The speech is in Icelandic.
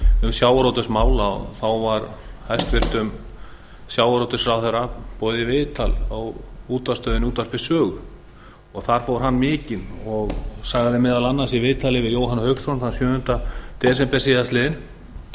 um sjávarútvegsmál þá var hæstvirtur sjávarútvegsráðherra boðið í viðtal á útvarpsstöðinni útvarpi sögu þar fór hann mikinn og sagði meðal annars í viðtali við jóhann hauksson þann sjöunda desember síðastliðinn